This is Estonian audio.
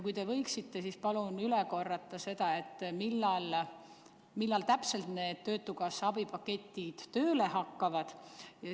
Kui te võite, siis palun korrake üle, millal täpselt need töötukassa abipaketid tööle hakkavad.